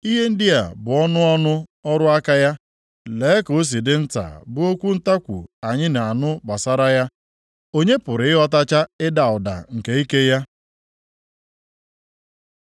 Ihe ndị a bụ ọnụ ọnụ ọrụ aka ya; + 26:14 Ihe ndị a bụ ụfọdụ nʼime ihe ọ na-eme lee ka o si dị nta bụ okwu ntakwu anyị na-anụ gbasara ya! Onye pụrụ ịghọtacha ịda ụda + 26:14 Egbe eluigwe nke ike nke ike ya?”